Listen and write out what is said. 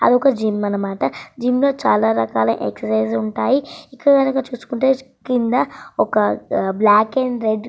అదొక జిమ్ అన్నమాట జిమ్ లో చాలా రకాల ఎక్సైజ్ ఉంటాయి. ఇక్కడ గనుక చూసుకుంటే కింద ఒక బ్లాక్ అండ్ రెడ్ --